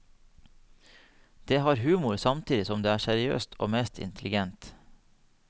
Det har humor samtidig som det er seriøst og meget intelligent.